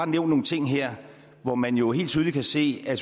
nogle ting her hvor man jo helt tydeligt kan se at